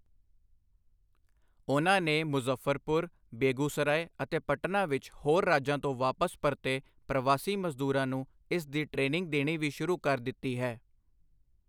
ਉਨ੍ਹਾਂ ਨੇ ਮੁਜ਼ੱਫਰਪੁਰ, ਬੇਗੂਸਰਾਏ ਅਤੇ ਪਟਨਾ ਵਿੱਚ ਹੋਰ ਰਾਜਾਂ ਤੋਂ ਵਾਪਸ ਪਰਤੇ ਪ੍ਰਵਾਸੀ ਮਜ਼ਦੂਰਾਂ ਨੂੰ ਇਸ ਦੀ ਟਰੇਨਿੰਗ ਦੇਣੀ ਵੀ ਸ਼ੁਰੂ ਕਰ ਦਿੱਤੀ ਹੈ।